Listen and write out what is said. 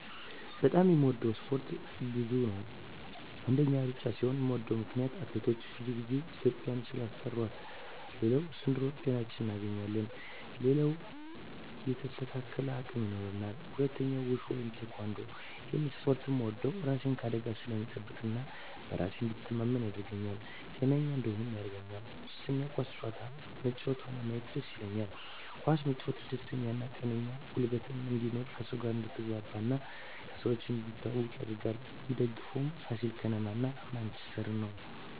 በጣም የምወደው እስፓርት ብዙ ነው አንደኛ እሩጫ ሲሆን ምወደው ምክነያት አትሌቶቻችን ብዙ ግዜ ኢትዩጵያን ስላስጠራት ሌላው ስንሮጥ ጤናችን እናገኛለን ሌላው የተስተካከለ አቅም ይኖራል ሁለተኛው ውሹ ወይም ቲካንዶ እሄን እስፖርት ምወደው እራሴን ከአደጋ ስለምጠብቅ እና በራሴ እንድተማመን ያረገኛል ጤነኛ እንድሆንም ያረገኛል ሶስተኛ ኳስ መጫወት ሆነ ማየት ደስ ይለኛል ኳስ መጫወት ደስተኛ ጤነኛ ጉልበት እንድኖር ከሰው ጋር አድትግባባ እና ከሰው እንድትተዋወቅ ያረጋል ምደግፈው ፋሲል ከነማ እና ማንችስተር ነው